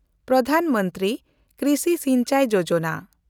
Pradhan Mantri Krishi Sinchai Yojana